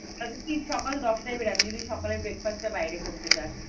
তাহলে কি সকাল দশটায় বেরোবি যদি সকালের বাইরে breakfast টা করতে চাস ।